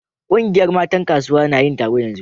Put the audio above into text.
Kungiyar matan kasuwa na yin taro yanzu.